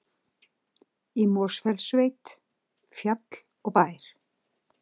Í Mosfellssveit, fjall og bær.